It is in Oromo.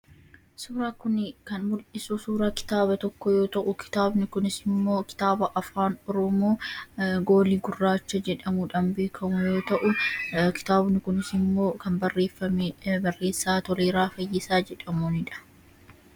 Suuraan kuni kan mul'isu suuraa kitaaba tokko yoo ta'u, kitaabni kunisimmoo kitaaba afaan oromoo "goolii gurraacha " jedhamuudhaan beekkamu yoo ta'u, kitaabni kunisimmoo kan barreeffame, barreessaa Toleeraa Fayyisaa jedhamuunidha.